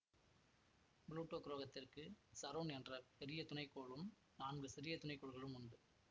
Pluto கிரகத்திற்கு Charon என்ற பெரிய துணைகோளும் நான்கு சிறிய துணைகோள்களும் உண்டு